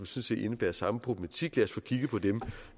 set indebærer samme problematik lad os få kigget på dem